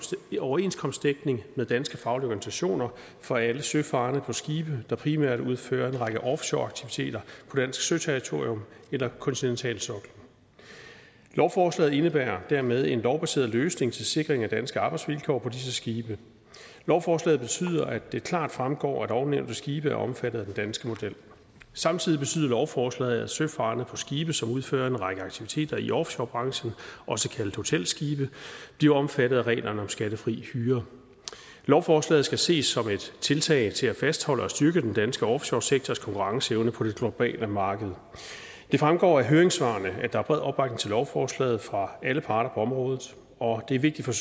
overenskomstdækning med danske faglige organisationer for alle søfarende på skibe der primært udfører en række offshoreaktiviteter på dansk søterritorium eller kontinentalsoklen lovforslaget indebærer dermed en lovbaseret løsning til sikring af danske arbejdsvilkår på disse skibe lovforslaget betyder at det klart fremgår at ovennævnte skibe er omfattet af den danske model samtidig betyder lovforslaget at søfarende på skibe som udfører en række aktiviteter i offshorebranchen også kaldet hotelskibe bliver omfattet af reglerne om skattefri hyre lovforslaget skal ses som et tiltag til at fastholde og styrke den danske offshoresektors konkurrenceevne på det globale marked det fremgår af høringssvarene at der er bred opbakning til lovforslaget fra alle parter på området og det er vigtigt